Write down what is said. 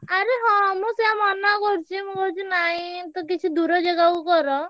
ଆରେ ହଁ ମୁଁ ସେଇଆ ମନା କରୁଛି ମୁଁ କହୁଛି ନାଇଁ ତ କିଛି ଦୂର ଜାଗାକୁ କର।